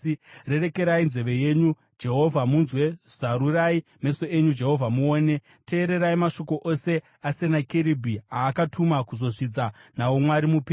Rerekai nzeve yenyu, Jehovha, munzwe; zarurai meso enyu, Jehovha muone; teererai mashoko ose aSenakeribhi aakatuma kuzozvidza nawo Mwari mupenyu.